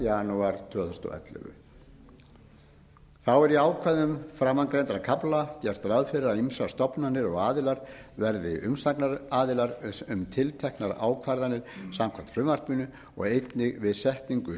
janúar tvö þúsund og ellefu þá er í ákvæðum framangreindra kafla gert ráð fyrir að ýmsar stofnanir og aðilar verði umsagnaraðilar um tilteknar ákvarðanir samkvæmt frumvarpinu og einnig við setningu